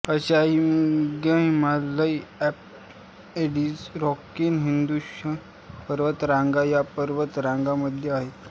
अश्या हिमनद्या Himalaya Alps Andes Rocky Hindu Kush पर्वतरांग या पर्वत रांगांमध्ये आहेत